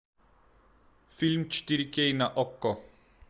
фильм четыре кей на окко